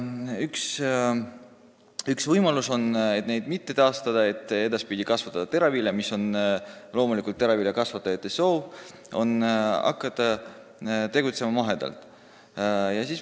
Üks võimalus on neid mitte taastada, vaid hakata edaspidi maheteravilja kasvatama, mis on loomulikult teraviljakasvatajate soov.